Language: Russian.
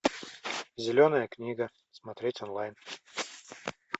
зеленая книга смотреть онлайн